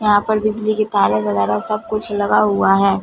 यहां पर बिजली के तारें वगैरा सब कुछ लगा हुआ है।